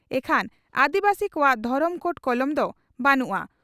ᱤᱠᱷᱟᱱ ᱟᱹᱫᱤᱵᱟᱹᱥᱤ ᱠᱚᱣᱟᱜ ᱫᱷᱚᱨᱚᱢ ᱠᱳᱰ ᱠᱚᱞᱚᱢ ᱫᱚ ᱵᱟᱹᱱᱩᱜᱼᱟ ᱾